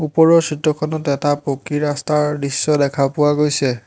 ওপৰৰ চিত্ৰখনত এটা পকী ৰাস্তাৰ দৃশ্য দেখা পোৱা গৈছে।